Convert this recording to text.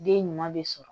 Den ɲuman bɛ sɔrɔ